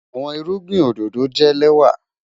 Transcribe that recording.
Àwọn ìrùgbìn ọdọdọ jẹ́ lẹ́wà